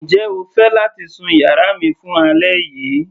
Njẹ́ o fẹ́ láti sun yàrá mi fún alẹ́ yìí.